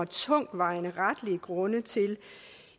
tungtvejende retlige grunde til